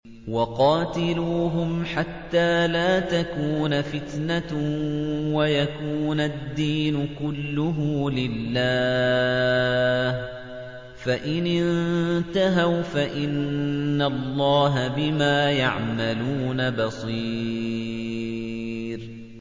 وَقَاتِلُوهُمْ حَتَّىٰ لَا تَكُونَ فِتْنَةٌ وَيَكُونَ الدِّينُ كُلُّهُ لِلَّهِ ۚ فَإِنِ انتَهَوْا فَإِنَّ اللَّهَ بِمَا يَعْمَلُونَ بَصِيرٌ